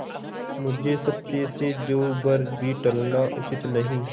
मुझे सत्य से जौ भर भी टलना उचित नहीं